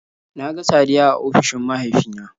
Na ga Saddiya a ofishin mahaifina